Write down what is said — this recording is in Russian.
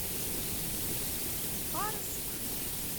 арск